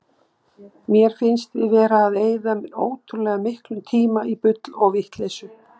Mér finnst við vera að eyða ótrúlega miklum tíma í bull og vitleysu.